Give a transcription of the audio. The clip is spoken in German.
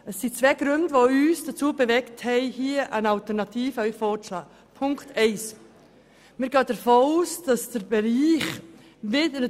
Uns haben zwei Gründe dazu bewegt, hier einen Alternativvorschlag einzureichen.